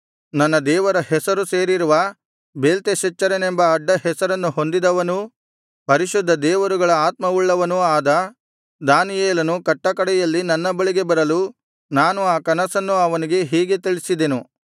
ನನ್ನ ದೇವರ ಹೆಸರು ಸೇರಿರುವ ಬೇಲ್ತೆಶಚ್ಚರನೆಂಬ ಅಡ್ಡಹೆಸರನ್ನು ಹೊಂದಿದವನೂ ಪರಿಶುದ್ಧದೇವರುಗಳ ಆತ್ಮವುಳ್ಳವನೂ ಆದ ದಾನಿಯೇಲನು ಕಟ್ಟಕಡೆಯಲ್ಲಿ ನನ್ನ ಬಳಿಗೆ ಬರಲು ನಾನು ಆ ಕನಸನ್ನು ಅವನಿಗೆ ಹೀಗೆ ತಿಳಿಸಿದೆನು